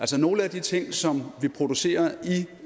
til nogle af de ting som vi producerer